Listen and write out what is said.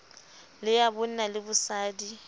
le ya bonna le bosadi